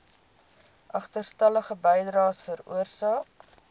agterstallige bydraes veroorsaak